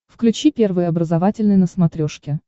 включи первый образовательный на смотрешке